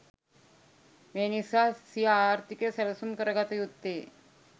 මේ නිසා සිය ආර්ථිකය සැලසුම් කරගත යුත්තේ